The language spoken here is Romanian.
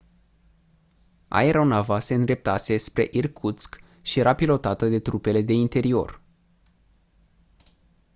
aeronava se îndreptase spre irkutsk și era pilotată de trupele de interior